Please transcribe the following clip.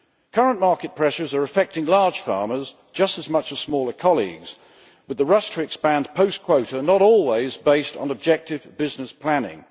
Current market pressures are affecting large farmers just as much as smaller colleagues, but the rush to expand, post quota, is not always based on objective business planning.